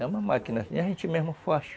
É uma máquina , a gente mesmo faz.